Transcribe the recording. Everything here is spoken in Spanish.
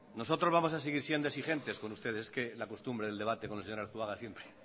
nosotros vamos a seguir siendo exigentes con ustedes es que la costumbre del debate con el señor arzuaga siempre